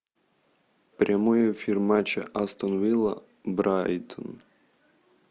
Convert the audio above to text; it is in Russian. прямой эфир матча астон вилла брайтон